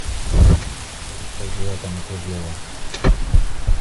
салют как дела там у круглова